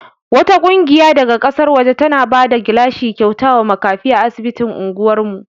Wata ƙungiya daga ƙasar waje tana bada gilashi kyauta wa makafi a asibitin anguwar mu.